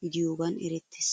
gidiyogaan erettees.